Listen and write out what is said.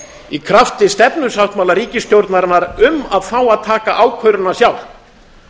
í krafti stefnusáttmála ríkisstjórnarinnar um að fá taka ákvörðunina sjálft